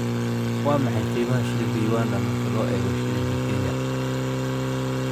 Waa maxay qiimaha shilinka Uganda marka loo eego shilinka Kenya?